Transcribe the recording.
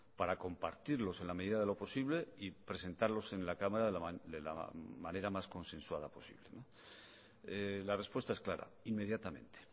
para compartirlos en la medida de lo posible y presentarlos en la cámara de la manera más consensuada posible la respuesta es clara inmediatamente